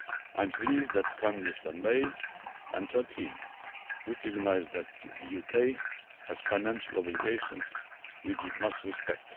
I am pleased that Prime Minister May and her team recognise that the UK has financial obligations which it must respect.